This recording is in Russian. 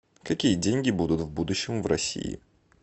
какие деньги будут в будущем в россии